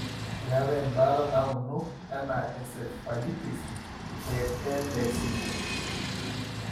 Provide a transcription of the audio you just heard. Meetae imbaata nauno e encephalitis eLAC.